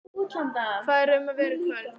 Hvað er um að vera í kvöld?